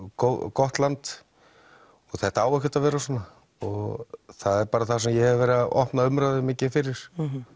gott land og þetta á ekkert að vera svona og það er það sem ég hef verið að opna umræðu mikið fyrir